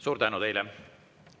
Suur tänu teile!